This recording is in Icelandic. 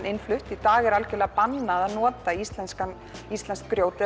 innflutt í dag er algjörlega bannað að nota íslenskt íslenskt grjót